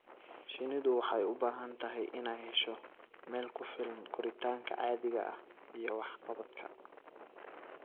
Shinnidu waxay u baahan tahay inay hesho meel ku filan koritaanka caadiga ah iyo waxqabadka.